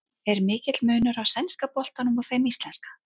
Er mikill munur á sænska boltanum og þeim íslenska?